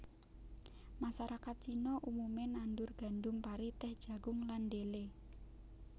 Masarakat Cina umume nandur gandum pari tèh jagung lan dhelé